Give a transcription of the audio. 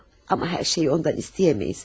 Amma hər şeyi ondan istəyə bilmərik.